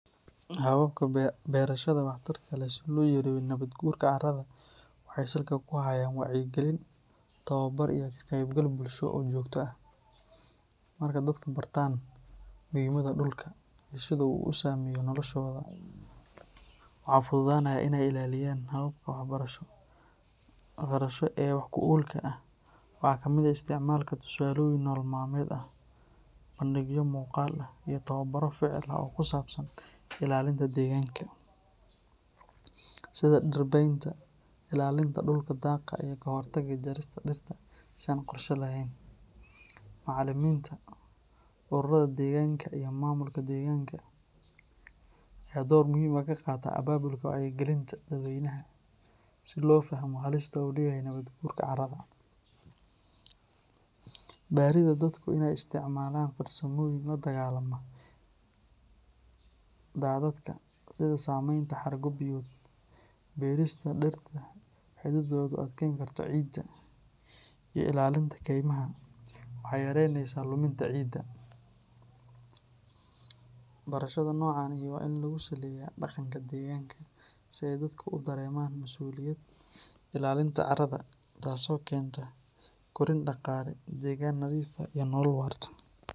Hababka berashada wax tarka leh si loo yareeyo nabadgurka carrada waxay salka ku hayaan wacyigelin, tababar iyo ka qaybgal bulsho oo joogto ah. Marka dadku bartaan muhiimadda dhulka iyo sida uu u saameeyo noloshooda, waxaa fududaanaya in ay ilaaliyaan. Hababka waxbarasho ee wax ku oolka ah waxaa ka mid ah isticmaalka tusaalooyin nolol maalmeed ah, bandhigyo muuqaal ah, iyo tababarro ficil ah oo ku saabsan ilaalinta deegaanka, sida dhir beynta, ilaalinta dhulka daaqa iyo ka hortagga jarista dhirta si aan qorshe lahayn. Macallimiinta, ururada deegaanka iyo maamulka deegaanka ayaa door muhiim ah ka qaata abaabulka wacyigelinta dadweynaha si loo fahmo halista uu leeyahay nabadgurka carrada. Baridda dadku in ay isticmaalaan farsamooyin la dagaalama daadadka sida sameynta xargo biyood, beerista dhirta xididdoodu adkayn karto ciidda, iyo ilaalinta kaymaha, waxay yareyneysaa luminta ciidda. Barashada noocan ahi waa in lagu saleeyaa dhaqanka deegaanka si ay dadka u dareemaan masuuliyadda ilaalinta carrada, taas oo keenta koriin dhaqaale, deegaan nadiif ah iyo nolol waarta.